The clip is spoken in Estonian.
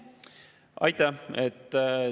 Aitäh!